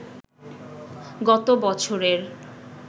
গত বছরের